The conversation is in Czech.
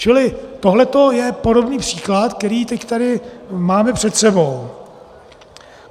Čili tohle je podobný příklad, který teď tady máme před sebou.